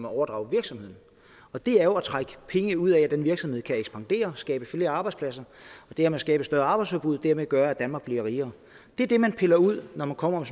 overdrager virksomheden og det er jo at trække penge ud i at den virksomhed kan ekspandere og skabe flere arbejdspladser og dermed skabe et større arbejdsudbud og dermed gøre at danmark bliver rigere det er det man piller ud når man kommer